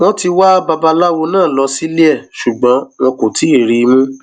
wọn ti wa babaláwo náà lọ sílé e ṣùgbọn wọn kò tí ì rí i mú